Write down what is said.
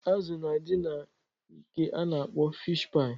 Azụ na adị na nke a na-akpọ fish-paị.